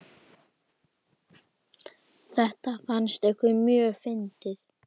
Þetta fannst ykkur mjög fyndið.